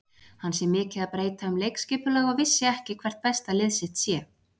Hann sé mikið að breyta um leikskipulag og viti ekki hvert besta lið sitt sé.